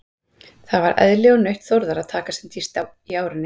Það var eðli og nautn Þórðar að taka sem dýpst í árinni.